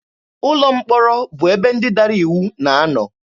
Ụlọ mkpọrọ bụ ebe ndị dara iwu na-anọ.